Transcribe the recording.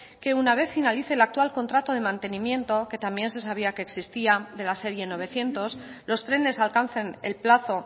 que una vez finalice el actual contrato de mantenimiento que también se sabía que existía de la serie novecientos los trenes alcancen el plazo